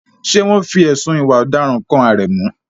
Ṣé wọ́n fi ẹ̀sùn ìwà ọ̀daràn kan Aremu?